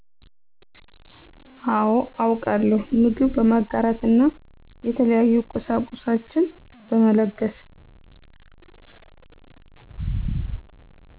አዎ አውቃለው ምግብ በማጋራት እና የተለያዩ ቁሳቁሷችን በመለገስ